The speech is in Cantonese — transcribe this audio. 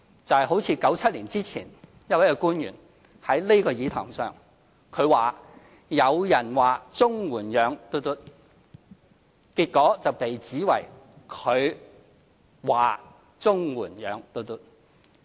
就像1997年前，有一位官員在這個議事堂上，他說："有人說綜援養 XX"， 結果他被指說"綜援養 XX"。